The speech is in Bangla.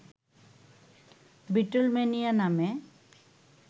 বিটলম্যানিয়া নামে